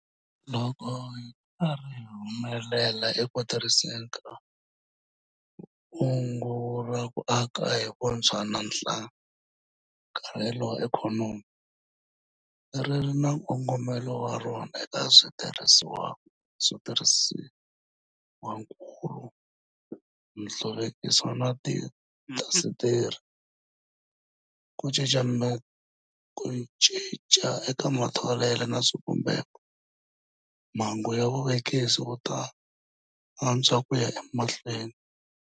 Loko hi ri karhi hi humelela eku tirhiseni ka Kungu ra ku Aka hi Vutshwa na Nhlakarhelo wa Ikhonomi - ri ri na nkongomo wa rona eka switirhisiwakulu, nhluvukiso wa tiindasitiri, ku cinca eka matholelo na swivumbeko - mbangu wa vuvekisi wu ta antswa ku ya emahlweni.